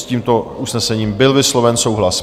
S tímto usnesením byl vysloven souhlas.